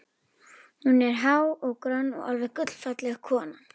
Hún er há og grönn, alveg gullfalleg kona.